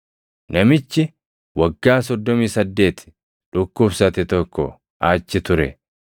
Namichi waggaa soddomii saddeeti dhukkubsate tokko achi ture.